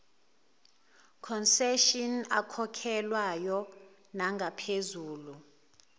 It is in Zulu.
concession akhokhelwayo nangaphezulu